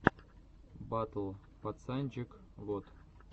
батл пацанчег вот